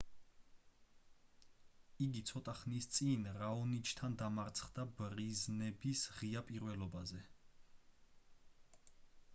იგი ცოტა ხნის წინ რაონიჩთან დამარცხდა ბრიზბენის ღია პირველობაზე